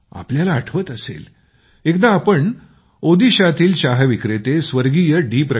तुम्हाला आठवत असेल एकदा आम्ही ओदिशातील चहा विक्रेते स्वर्गीय डी